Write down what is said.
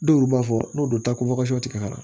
Dɔw b'a fɔ n'u donna ka na